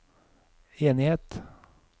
enighet